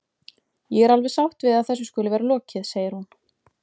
Ég er alveg sátt við að þessu skuli vera lokið, segir hún.